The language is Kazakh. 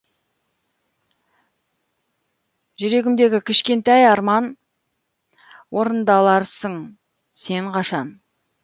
жүрегімдегі кішкентай арман орындаларсың сен қашан